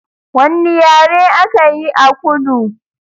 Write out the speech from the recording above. Wanne yare aka yi a kudu?